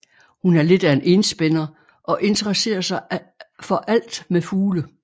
Hun er lidt af en enspænder og interesserer sig for alt med fugle